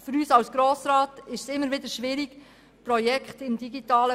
Für den Grossen Rat ist es schwierig, IT-Projekte zu beurteilen.